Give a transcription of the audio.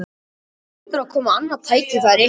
Það hlýtur að koma annað tækifæri